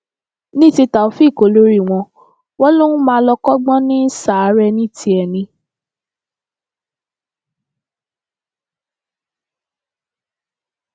ní ti taofeek olórí wọn wọn lòún máa lọ kọgbọn ní ṣàárẹ ní tiẹ ni